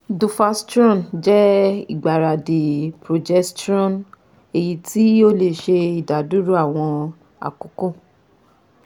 Duphastrone jẹ igbaradi progesterone eyiti o le ṣe idaduro awọn akoko